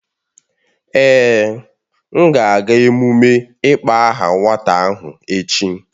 Èè, m ga-aga emume ịkpọ aha nwata ahụ echi